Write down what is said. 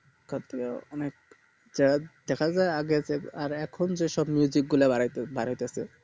তারপরে দেখা যাই আগে যে আর এখন যে সব গুলা বাড়ায় বাড়াইতেছে